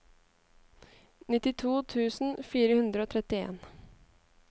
nittito tusen fire hundre og trettien